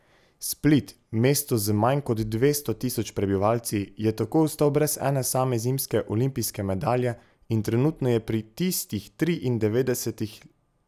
Split, mesto z manj kot dvesto tisoč prebivalci, je tako ostal brez ene same zimske olimpijske medalje in trenutno je pri tistih triindevetdesetih letnih.